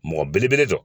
Mɔgɔ belebele dɔ